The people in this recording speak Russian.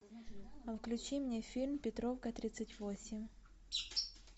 включи мне фильм петровка тридцать восемь